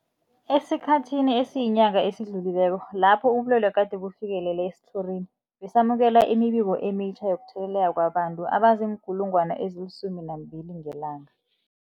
Esikhathini esiyinyanga esidlulileko lapho ubulwele gade bufikelele esitlhorini, besamukela imibiko emitjha yokutheleleka kwabantu abazii-12 000 ngelanga.